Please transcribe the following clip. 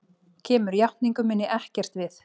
Kemur játningu minni ekkert við.